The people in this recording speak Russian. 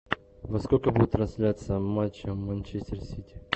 во сколько будет трансляция матча манчестер сити